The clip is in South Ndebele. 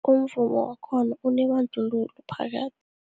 Umvumo wakhona unebandlululo phakathi.